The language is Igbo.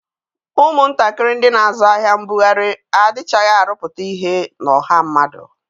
Ụmụntakịrị ndị na-azụ ahịa mbughari adịchaghị arụpụta ihe na ọha mmadụ.